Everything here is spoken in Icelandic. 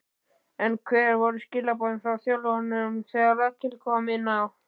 En hver voru skilaboðin frá þjálfaranum þegar Rakel kom inná?